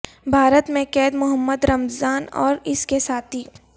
بھارت میں قید محمد رمضان اور اس کے ساتھی